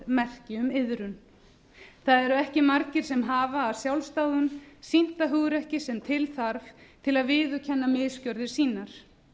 merki um iðrun það eru ekki margir sem hafa af sjálfsdáðum sýnt það hugrekki sem til þarf til að viðurkenna misgerðir sínar